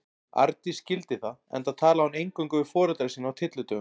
Arndís skildi það, enda talaði hún eingöngu við foreldra sína á tyllidögum.